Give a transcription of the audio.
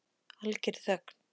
Algerri þögn.